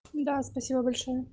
да спасибо большое